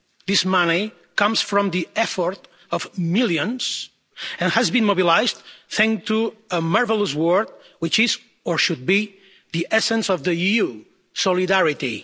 This money comes from the effort of millions, and has been mobilised thanks to a marvellous word which is, or should be, the essence of the EU solidarity.